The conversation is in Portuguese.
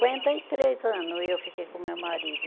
e três anos eu fiquei com o meu marido.